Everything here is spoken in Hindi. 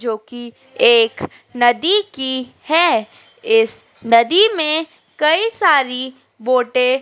जो की एक नदी की हैं इस नदी में कई सारी बोटें --